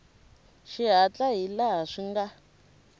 xihatla hi laha swi nga